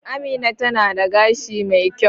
Amina tana da gashi mai kyau